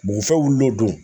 Bugufɛn wulila o don